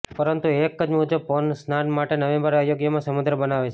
પરંતુ એક મજબૂત પવન સ્નાન માટે નવેમ્બર અયોગ્યમાં સમુદ્ર બનાવે છે